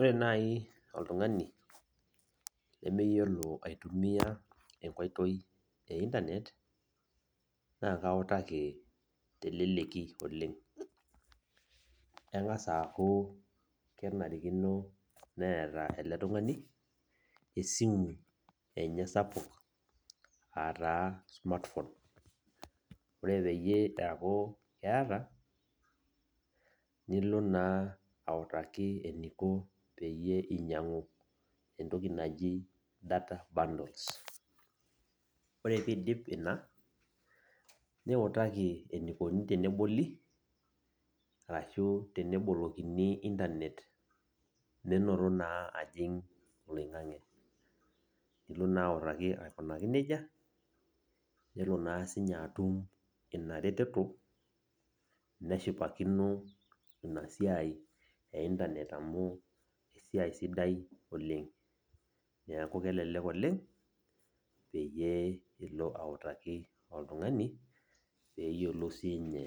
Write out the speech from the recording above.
Ore nai oltung'ani lemeyiolo aitumia enkoitoi e Internet, na kautaki teleleki oleng. Eng'asa aku kenarikino neeta ele tung'ani, esimu enye sapuk, ataa smartphone. Ore peyie eeku keeta, nilo naa autaki eniko peyie inyang'u entoki naji data bundles. Ore pidip ina, niutaki enikoni teneboli arashu tenebolikini Internet menoto naa ajing' oloing'ang'e. Nilo naa autaki aikunaki nejia, nelo naa sinye atum ina reteto, neshipakino inasiai e Internet amu esiai sidai oleng. Neeku kelelek oleng, peyie ilo autaki oltung'ani, peyiolou sinye